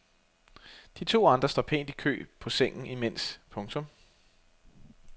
De to andre står pænt i kø på sengen imens. punktum